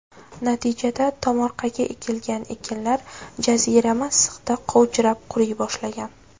Natijada tomorqaga ekilgan ekinlar jazirama issiqda qovjirab quriy boshlagan.